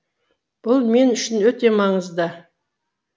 бұл мен үшін өте маңызды